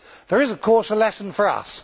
There is of course a lesson for us.